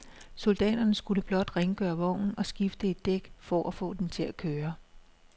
Soldaterne skulle blot rengøre vognen og skifte et dæk for at få den til at køre.